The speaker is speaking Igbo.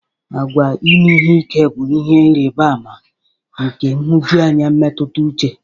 Àgwà ime ihe ike bụ ihe ịrịba ama nke nhụjuanya mmetụta uche.